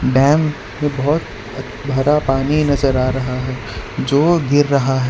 Dam में बहोत भरा पानी नजर आ रहा है जो गिर रहा है।